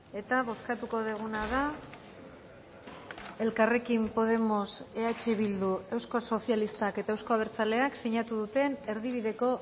eta bozkatuko duguna da elkarrekin podemos eh bildu eusko sozialistak eta euzko abertzaleak sinatu duten erdibideko